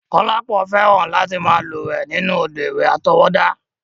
Kọ́lápọ̀ fẹ́ràn láti máa lúwẹ̀ẹ́ nínú òdò ìwẹ̀ àtọwọ́dá.